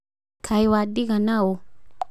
Kaĩ wadiga naũ.